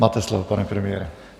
Máte slovo, pane premiére.